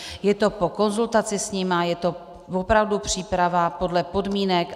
Je to po konzultaci s nimi, je to opravdu příprava podle podmínek.